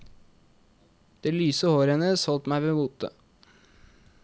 Det lyse håret hennes holdt meg ved mote.